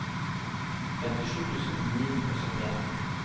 femtisju tusen ni hundre og syttien